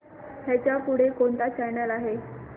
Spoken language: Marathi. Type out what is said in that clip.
ह्याच्या पुढे कोणता चॅनल आहे